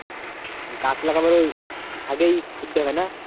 গাছ লাগাবার আগেই হবে না?